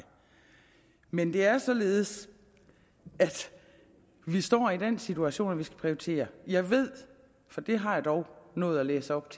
men det er således at vi står i den situation at vi skal prioritere jeg ved for det har jeg dog nået at læse op